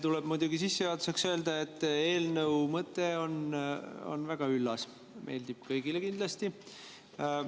Tuleb muidugi sissejuhatuseks öelda, et eelnõu mõte on väga üllas, meeldib kindlasti kõigile.